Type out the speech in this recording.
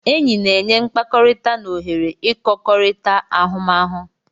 Enyi na-enye mkpakọrịta na ohere ịkọkorita ahụmahụ.